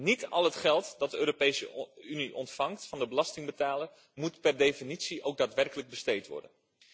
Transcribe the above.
Niet al het geld dat de Europese Unie ontvangt van de belastingbetaler, moet per definitie ook daadwerkelijk besteed worden.